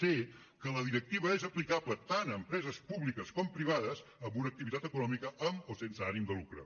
c que la directiva és aplicable tant a empreses públiques com privades amb una activitat econòmica amb o sense ànim de lucre